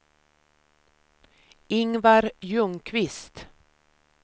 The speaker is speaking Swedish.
Ingvar Ljungqvist